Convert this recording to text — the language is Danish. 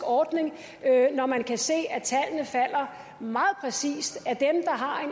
ordning når man kan se at tallene falder meget præcist